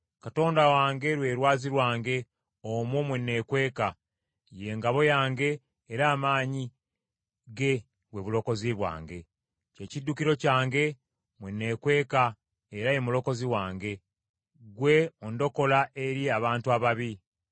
Katonda wange lwe lwazi lwange, omwo mwe neekweka, ye ngabo yange era amaanyi ge bwe bulokozi bwange. Kye kiddukiro kyange, mwe nneekweka era ye mulokozi wange; ggwe ondokola eri abantu ababi.